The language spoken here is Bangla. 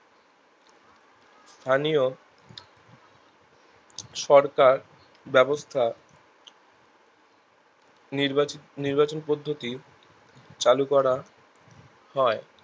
স্থানীয় সরকার ব্যাবস্থা নির্বা নির্বাচন পদ্ধতি চালু করা হয়